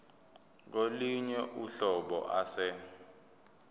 kolunye uhlobo ase